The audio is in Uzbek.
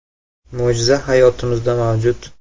Mo‘jiza hayotimizda mavjud.